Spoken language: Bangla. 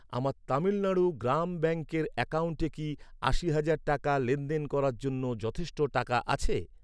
আমার তামিলনাড়ু গ্রাম ব্যাঙ্কের অ্যাকাউন্টে কি আশি হাজার টাকা লেনদেন করার জন্য যথেষ্ট টাকা আছে?